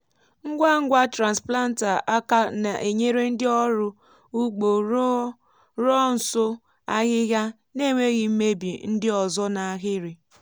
ngwa ngwa transplanter aka na-enyere ndị ọrụ ugbo rụọ nso ahịhịa n’enweghị imebi ndị ọzọ n’ahịrị.